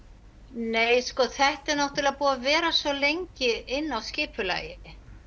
nei sko þetta er búið að vera svo lengi inni á skipulagi